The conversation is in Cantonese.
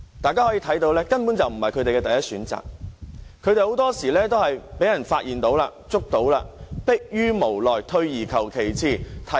大家可以看到，這根本不是他們的第一選擇，很多時候他們都是因為被發現或拘捕時，才逼於無奈，退而求其次。